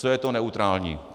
Co je to neutrální?